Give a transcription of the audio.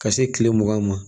Ka se kile mugan ma